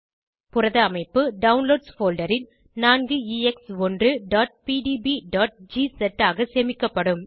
புரத அமைப்பு downloads folder ல் 4ex1pdbஜிஸ் ஆக சேமிக்கப்படும்